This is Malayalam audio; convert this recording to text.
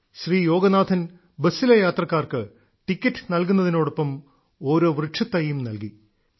ശ്രീ യോഗനാഥൻ ബസ്സിലെ യാത്രക്കാർക്ക് ടിക്കറ്റ് നൽകുന്നതിനോടൊപ്പം ഓരോ വൃക്ഷത്തൈയും നൽകി